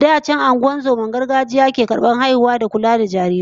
Da can mukan ga ungozomar gargajiya ce ke karbar haihuwa da kula da jarirai